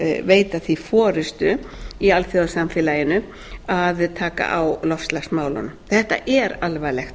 veita því forustu í alþjóðasamfélaginu að taka á loftslagsmálunum þetta er alvarlegt